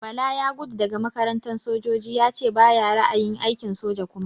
Bala ya gudo daga makarantar sojoji yace bayi ra'ayin aikin soja kuma.